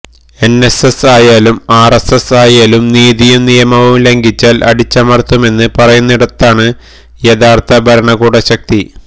NSS ആയാലും RSS ആയാലും നീതിയും നിയമവും ലംഘിച്ചാൽ അടിച്ചമർത്തുമെന്ന് പറയുന്നിടത്താണ് യഥാർത്ഥ ഭരണകൂടശക്തി